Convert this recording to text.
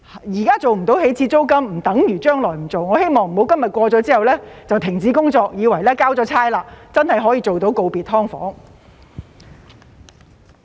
現在無法訂定起始租金，不等於將來不做，我希望政府不要今天通過條例之後，便停止工作，以為已經交差，真的可以做到告別"劏房"。